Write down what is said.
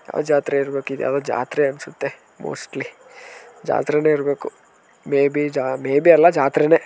ಯಾವ್ದೋ ಜಾತ್ರೆ ಇರ್ಬೇಕಿದು ಇದ್ ಯಾವ್ದೋ ಜಾತ್ರೆ ಅನ್ಸುತ್ತೆ ಮೋಸ್ಟ್ಲಿ ಜಾತ್ರೆನೇ ಇರ್ಬೇಕು ಮೇಬಿ ಜಾ ಮೇಬಿ ಅಲ್ಲಾ ಜಾತ್ರೆನೇ.